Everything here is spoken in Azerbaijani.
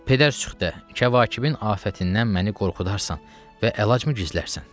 Pedər-sıxtə, kəvakibin afətindən məni qorxudarsan və əlacımı gizlərsən?